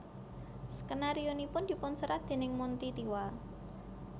Skenarionipun dipun serat déning Monty Tiwa